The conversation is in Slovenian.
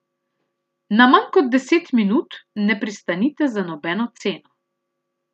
Na manj kot deset minut ne pristanite za nobeno ceno.